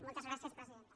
moltes gràcies presidenta